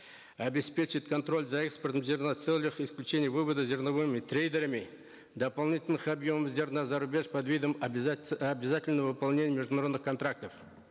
обеспечить контроль за экспортом зерна в целях исключения вывода зерновыми трейдерами дополнительных объемов зерна зарубеж под видом обязательного выполнения международных контрактов